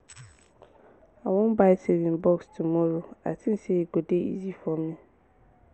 i wan buy saving box tomorrow i think say e go dey easier for me